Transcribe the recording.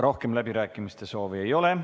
Rohkem läbirääkimiste soovi ei ole.